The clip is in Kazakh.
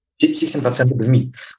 жетпіс сексен проценті білмейді